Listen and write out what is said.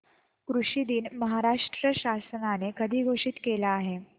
कृषि दिन महाराष्ट्र शासनाने कधी घोषित केला आहे